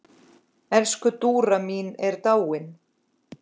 Elsku Dúra mín er dáin.